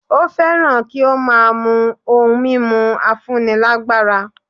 Ó fẹ́ràn kí ó máa mú ohun mímu afúnilágbára